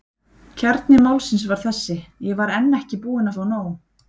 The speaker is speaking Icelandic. Kjarni málsins var þessi: Ég var enn ekki búinn að fá nóg.